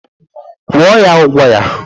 Kwụọ ya, ụgwọ ya!